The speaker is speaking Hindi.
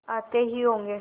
आते ही होंगे